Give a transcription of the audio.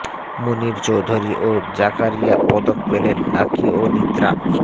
মুনীর চৌধুরী ও জাকারিয়া পদক পেলেন লাকী ও নিত্রা